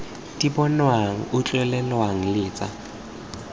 di bonwang utlwelelwang le tsa